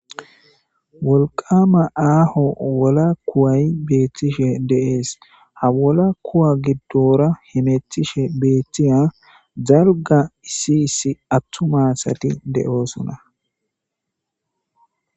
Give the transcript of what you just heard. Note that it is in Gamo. wolqama aaho wola kuway beethtishe de7ees ha wola kuwa giddora himetishe beeththiya zalga issi issi attumasati de7oosona